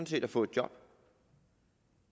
set at få et job